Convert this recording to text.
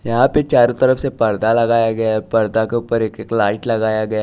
यहां पे चारों तरफ से पर्दा लगाया गया है पर्दा के ऊपर एक-एक लाइट लगाया गया--